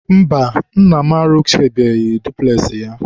mba, nna am arụsịbeghị dupules ya.